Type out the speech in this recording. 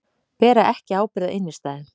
Bera ekki ábyrgð á innstæðum